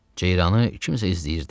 Ceyranı kimsə izləyirdi.